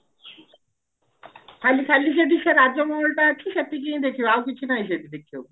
ଖାଲି ଖାଲି ସେଠି ସେ ରାଜମହଲ ଟା ଅଛି ସେତିକି ହିନ ଦେଖିବ ଆଉ କିଛି ନାଇଁ ସେଠି ଦେଖିବାକୁ